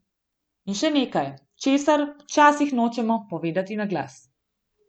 In še nekaj, česar včasih nočemo povedati na glas.